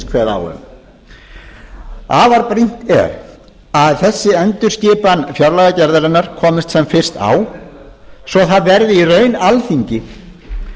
kveða á um afar brýnt er að þessi endurskipan fjárlagagerðarinnar komist sem fyrst á svo það verði í raun alþingi